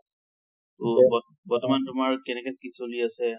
বৰ্তমান তোমাৰ কেনেকে কি চলি আছে?